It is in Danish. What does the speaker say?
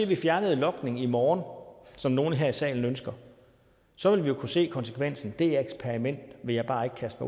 vi fjernede logning i morgen som nogle her i salen ønsker så ville vi jo kunne se konsekvensen det eksperiment vil jeg bare ikke kaste